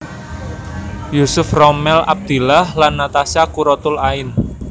Yusuf Rommel Abdillah lan Natasha Quratul Ain